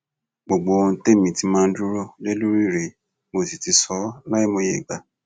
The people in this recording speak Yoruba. gbogbo ohun tẹmí ti máa ń dúró lé lórí rèé mo sì ti sọ ọ láìmọye ìgbà